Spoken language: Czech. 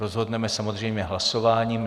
Rozhodneme samozřejmě hlasováním.